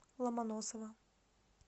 ломоносова